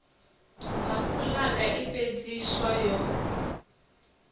nha fulaga i fhefheiswa yo